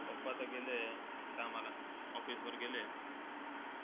papa तर गेले कामाला. Office वर गेले आहे.